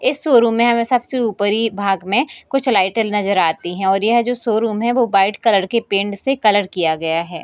इस शोरूम में हमें सबसे ऊपरी भाग में कुछ लाइटें नजर आती है और यह जो शोरूम है वो व्हाइट कलर के पेंट से कलर किया गया है।